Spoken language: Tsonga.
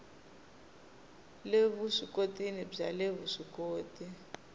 le vuswikoti bya le vuswikoti